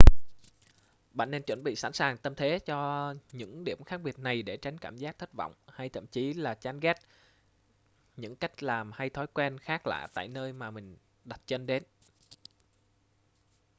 bạn nên chuẩn bị sẵn sàng tâm thế cho những điểm khác biệt này để tránh cảm giác thất vọng hay thậm chí là chán ghét những cách làm hay thói quen khác lạ tại nơi mà mình đặt chân đến